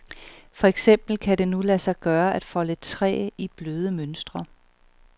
For eksempel kan det nu lade sig gøre at folde træ i bløde mønstre.